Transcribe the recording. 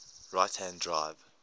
right hand drive